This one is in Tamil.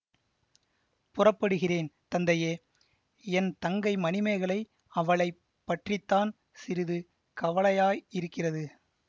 புறப்படுகிறேன் தந்தையே என் தங்கை மணிமேகலை அவளை பற்றி தான் சிறிது கவலையாயிருக்கிறது